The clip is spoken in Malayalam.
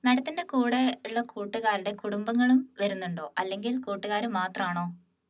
madam ത്തിൻറെ കൂടെയുള്ള കൂട്ടുകാരുടെ കുടുംബങ്ങളും വരുന്നുണ്ടോ അല്ലെങ്കിൽ കൂട്ടുകാരു മാത്രണോ